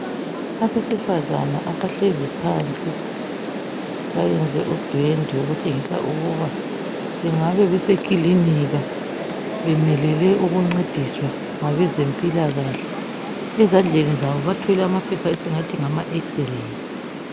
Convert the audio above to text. Abesifazana abahlezi phansi bayenze udwendwe okutshengisa ukuba bengabe besikilinika bemelele ukuncediswa ngabezempilakahle ezandleni zabo bathwele amaphepha esingathi ngama xray